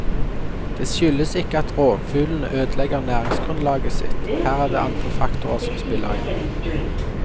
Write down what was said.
Det skyldes ikke at rovfuglene ødelegger næringsgrunnlaget sitt, her er det andre faktorer som spiller inn.